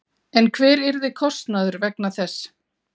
En hver yrði kostnaður vegna þess?